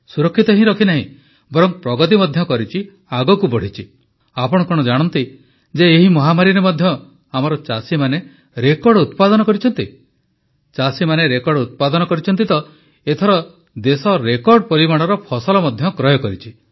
ସୁରକ୍ଷିତ ହିଁ ରଖିନାହିଁ ବରଂ ପ୍ରଗତି ମଧ୍ୟ କରିଛି ଆଗକୁ ବଢ଼ିଛି ଆପଣ କଣ ଜାଣନ୍ତି ଯେ ଏହି ମହାମାରୀରେ ମଧ୍ୟ ଆମର ଚାଷୀମାନେ ରେକର୍ଡ ଉତ୍ପାଦନ କରିଛନ୍ତି ଚାଷୀମାନେ ରେକର୍ଡ ଉତ୍ପାଦନ କରିଛନ୍ତି ତ ଏଥର ଦେଶ ରେକର୍ଡ ପରିମାଣର ଫସଲ ମଧ୍ୟ କ୍ରୟ କରିଛି